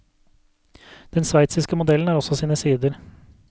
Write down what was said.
Den sveitsiske modellen har også sine sider.